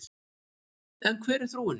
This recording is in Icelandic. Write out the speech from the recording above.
En hver er þróunin?